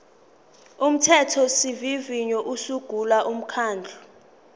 umthethosivivinyo usungula umkhandlu